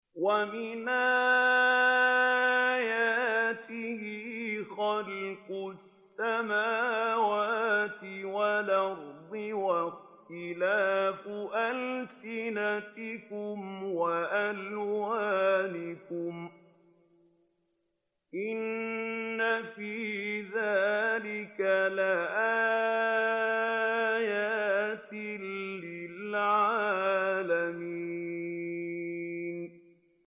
وَمِنْ آيَاتِهِ خَلْقُ السَّمَاوَاتِ وَالْأَرْضِ وَاخْتِلَافُ أَلْسِنَتِكُمْ وَأَلْوَانِكُمْ ۚ إِنَّ فِي ذَٰلِكَ لَآيَاتٍ لِّلْعَالِمِينَ